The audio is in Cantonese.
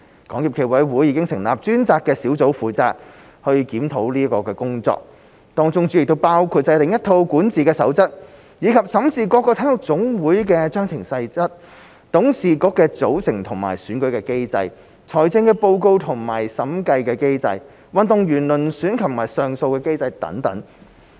港協暨奧委會已成立專責小組負責檢討工作，當中主要包括制訂一套管治守則，以及審視各體育總會的章程細則、董事局的組成及選舉機制、財政報告及審計機制、運動員遴選及上訴機制等。